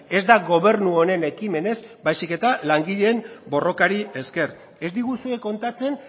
ez da gobernu honen ekimenez baizik eta langileen borrokari esker ez diguzue kontatzen